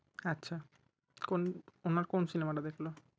আচ্ছা কোন ওনার কোন cinema টা দেখলে